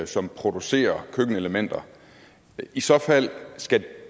som producerer køkkenelementer i så fald skal